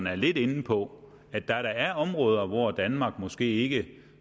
er lidt inde på at der er områder hvor danmark måske ikke